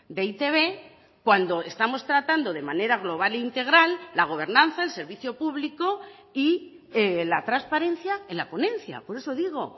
de e i te be cuando estamos tratando de manera global e integral la gobernanza el servicio público y la transparencia en la ponencia por eso digo